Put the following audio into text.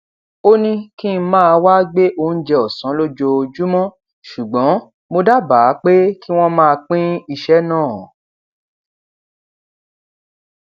ó ní kí n máa wá gbé oúnjẹ òsán lójoojúmó ṣùgbọn mo dábàá pé kí wón máa pín iṣé náà